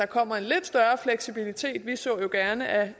kommer en lidt større fleksibilitet vi så jo gerne at